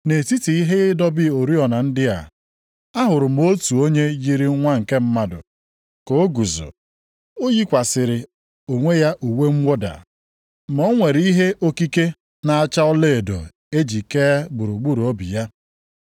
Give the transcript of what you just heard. Nʼetiti ihe ịdọba oriọna ndị a, ahụrụ m otu onye yiri nwa nke mmadụ, + 1:13 \+xt Dan 7:13\+xt* ka o guzo. O yikwasịrị onwe ya uwe mwụda. Ma o nwere ihe okike na-acha ọlaedo e ji kee gburugburu obi ya.